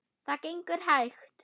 Það gengur hægt.